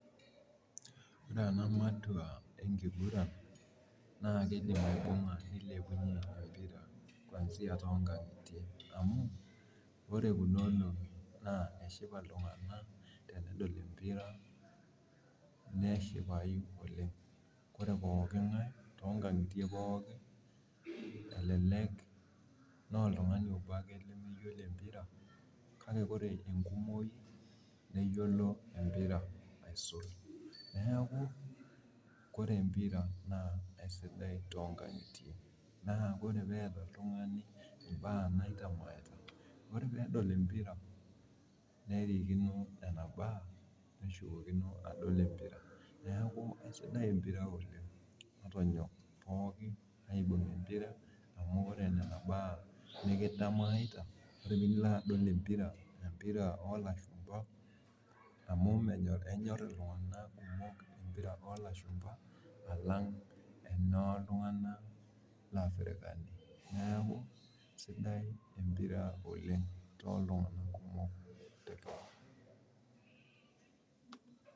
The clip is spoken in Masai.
ore ena matwa enkiguran naa kidim aibuga nilepunye embira too inkangitie amu ore kuna olong'ie eshipa iltunganak , tenedol empia neshipayu oleng ore pooki ngae too inkangitie pooki elelek naa oltungani obo ake lemeyiolo empira, kake ore too ikangitie naa ore pee etaa oltungani ibaa naitanyamalita ore pee elo adol empira nerikino neeku sidai empira oleng'.